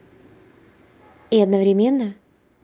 и одновременно